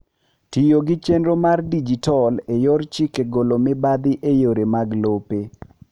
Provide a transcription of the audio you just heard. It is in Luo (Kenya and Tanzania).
Tiyo gi chenro mar dijital e yor chike golo mibathi e yore mag lope.